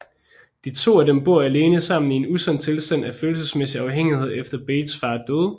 De to af dem bor alene sammen i en usund tilstand af følelsesmæssig afhængighed efter Bates fars død